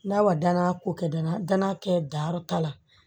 N'a ma danaya ko kɛ da la danaya kɛ danyɔrɔ t'a la